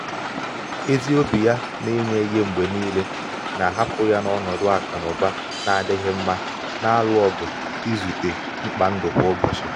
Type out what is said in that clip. ezi obi ya na inye ihe mgbe niile um na-ahapụ ya n’ọnọdụ akụ na ụba um na-adịghị mma na-alụ ọgụ um izute mkpa ndụ kwa ụbọchị.